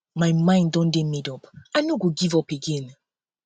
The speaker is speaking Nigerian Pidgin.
my mind don dey made up i no go give up again